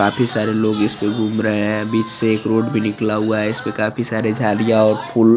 काफी सारे लोग इस पर घूम रहे हैं बीच से एक रोड भी निकला हुआ है इस पर काफी सारे झाडीया या और फुल--